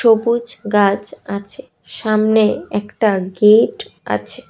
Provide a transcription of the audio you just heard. সবুজ গাছ আছে সামনে একটা গেট আছে।